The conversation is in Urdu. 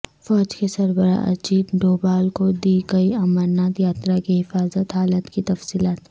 فوج کے سربراہ اجیت ڈوبھال کو دیں گے امرناتھ یاترا کی حفاظت حالات کی تفصیلات